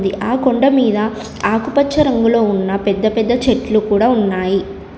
ఆ కొండ మీద ఆకుపచ్చ రంగులో ఉన్న పెద్ద పెద్ద చెట్లు కూడా ఉన్నాయి.